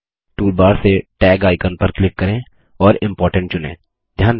toolbar से tag icon पर click करें और इम्पोर्टेंट चुनें